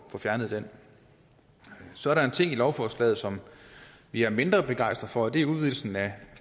fjernet den så er der en ting i lovforslaget som vi er mindre begejstrede det er udvidelsen af